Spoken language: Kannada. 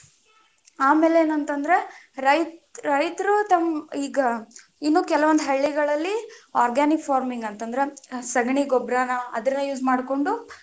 ಆಮೇಲೆ ಏನ ಅಂತಂದ್ರ, ರೈತರು ತಮ್ಮ ಈಗ ಇನ್ನು ಕೆಲವೊಂದು ಹಳ್ಳಿಗಳಲ್ಲಿ organic farming ಅಂತಂದ್ರ ಸಗಣಿ ಗೊಬ್ಬರನ, ಅದನ್ನ use ಮಾಡ್ಕೊಂಡು.